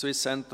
SCDH